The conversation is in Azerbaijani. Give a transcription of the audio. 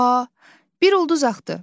A, bir ulduz axdı.